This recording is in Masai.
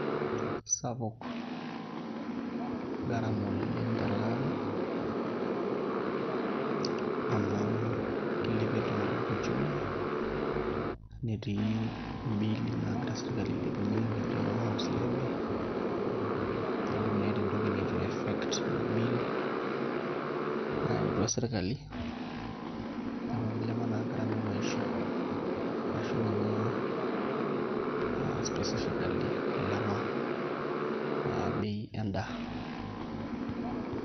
Sapuk garama oleng' tele ari amu kilepie iltung'anak uchumi, netii imbiili naagira sirkali ailepie nijio noo house levy neeku meeta entoki nitu iaffect ina bill nayautua sirkali, neeku kilepa naa garama e maisha arashu ninye aaa specifically aa ilepa bei endaa.